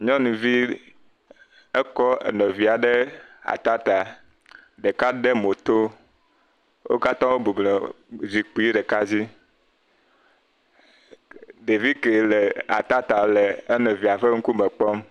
Nyɔnivi aɖe kɔ nɔvia ɖe atata, ɖeka de mo to. Wo kata wo bublɔ zikpui ɖeka dzi, nyɔnuvi, ɖevi ke le atata le nɔvia ŋkume kpɔm.